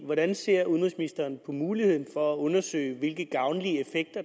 hvordan ser udenrigsministeren på muligheden for at undersøge hvilke gavnlige